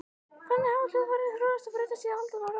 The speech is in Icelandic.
Þannig hafa hljóðfærin þróast og breyst í aldanna rás.